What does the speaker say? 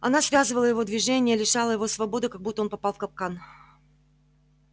она связывала его движения лишала его свободы как будто он попал в капкан